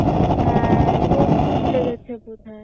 হ্যাঁ রোদ্দুর লেগেছে বোধহয়